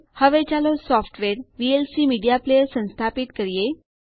હવે ચાલો software VLC media player સંસ્થાપિત કરીએ